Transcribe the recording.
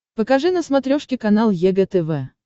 покажи на смотрешке канал егэ тв